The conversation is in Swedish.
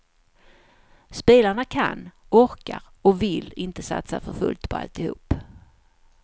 Spelarna kan, orkar och vill inte satsa för fullt på alltihop.